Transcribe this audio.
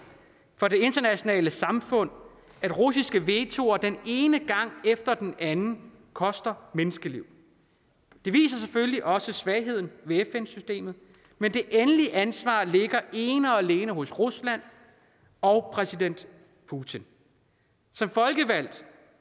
for det internationale samfund at russiske vetoer den ene gang efter den anden koster menneskeliv det viser selvfølgelig også svagheden ved fn systemet men det endelige ansvar ligger ene og alene hos rusland og præsident putin som folkevalgt